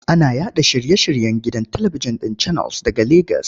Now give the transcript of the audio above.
Ana yaɗa shiye-shiryen gidan talibijin ɗin Channels daga Legas.